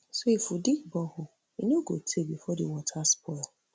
so if we dig borehole e no go taye bifor di water spoil